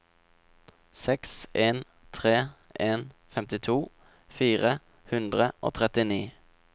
seks en tre en femtito fire hundre og trettini